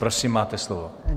Prosím, máte slovo.